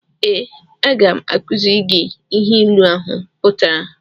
Ee, aga m akuziri gị ihe ịlu ahụ pụtara